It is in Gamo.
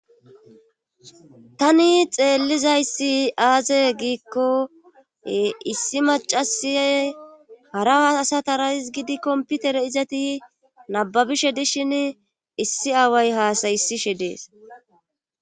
tani xeellizayssi aaze giikko issi macasiyay hara aasatarais gidi komputere izati nababishe dishin issi aaway haasayisishe dees